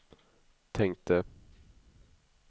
tänkte